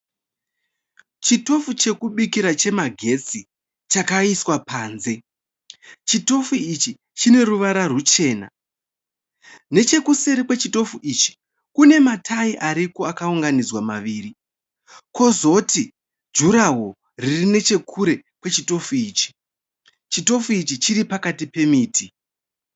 Chitofu chekubikira chemagetsi chakaiswa panze, chitofu ichi chine ruvara rwuchena nechekuseri kwechitofu ichi kune matayi ariko akaunganidzwa maviri kozoti juraho riri nechekure kwechitofu ichi, chitofu ichi chiri pakati pemiti.